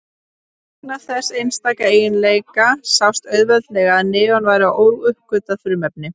Vegna þessa einstaka eiginleika sást auðveldlega að neon væri óuppgötvað frumefni.